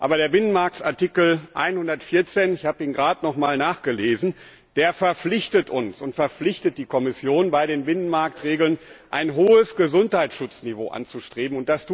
Aber der Binnenmarktartikel 114 ich habe ihn gerade noch einmal nachgelesen verpflichtet uns und auch die Kommission, bei den Binnenmarktregeln ein hohes Gesundheitsschutzniveau anzustreben.